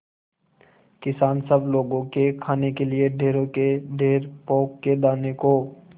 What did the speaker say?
किसान सब लोगों के खाने के लिए ढेरों के ढेर पोंख के दानों को